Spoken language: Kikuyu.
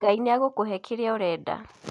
Ngai nĩegũkũhe kĩrĩa ũrenda.